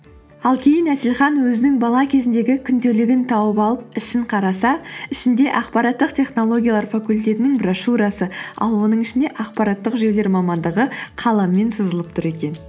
ал кейін әселхан өзінің бала кезіндегі күнделігін тауып ішін қараса ішінде ақпараттық технологиялар факультетінің брошюрасы ал оның ішінде ақпараттық жүйелер мамандығы қаламмен сызылып тұр екен